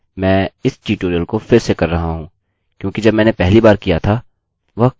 मैं इस ट्यूटोरियल को फिर से कर रहा हूँ क्योंकि जब मैंने पहली बार किया था वह काम नही किया था